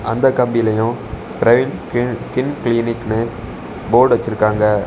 அந்த கம்பீலையும் Praveen skin skin கிளினிக்னு போர்டு வச்சிருக்காங்க.